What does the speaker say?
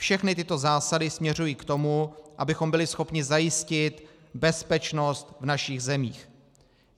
Všechny tyto zásady směřují k tomu, abychom byli schopni zajistit bezpečnost v našich zemích.